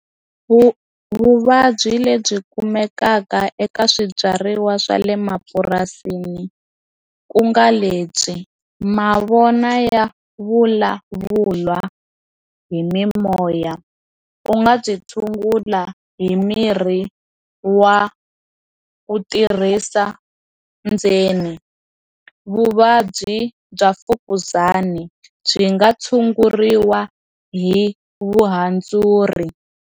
Vu vuvabyi lebyi kumekaka eka swibyariwa swa le mapurasini ku nga lebyi mavona ya vulavula hi mimoya u nga byi tshungula hi mirhi wa ku tirhisa ndzeni vuvabyi bya mfukuzana byi nga tshunguriwa hi vuhandzuri.